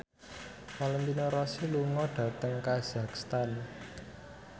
Valentino Rossi lunga dhateng kazakhstan